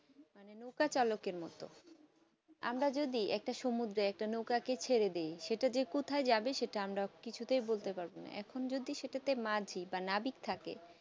নৌকা চালকে মতো আমরা যদি একটা সমুদ্র একটা নৌকাকে ছেড়ে দিয় সেটা কোথায় যাবে আমরা কিছু তে বলতে পারবো না এখন যদি সেটাকে মাঝি বা নাবিক থাকে